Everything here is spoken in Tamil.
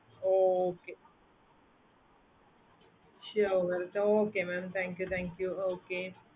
okay sure okay mam thank you thank you okay